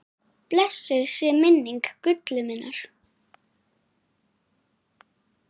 Blessuð sé minning Gullu minnar.